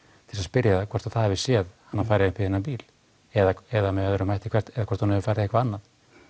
til þess að spyrja það hvort það hafi séð hana fara upp í þennan bíl eða eða með öðrum hætti hvort hún hefur farið eitthvað annað